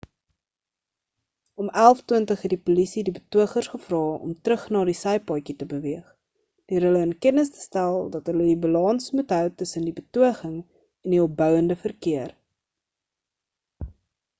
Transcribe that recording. om 11:20 het die polisie die betogers gevra om terug na die sypaadjie te beweeg deur hulle in kennis te stel dat hulle die balans moet hou tussen die betoging en die opbounde verkeer